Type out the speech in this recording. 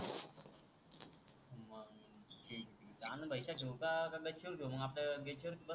आनंद भाई च्या ठेवू का गच्चीवर घेऊ मग आपल्याला कस